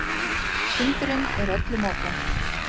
Fundurinn er öllum opinn